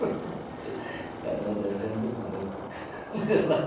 ficaram me devendo muito